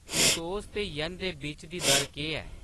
pesos ते येन दे बिच्च दी दर केह्‌‌ ऐ